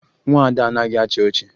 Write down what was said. Nwa Ada anaghị achị ọchị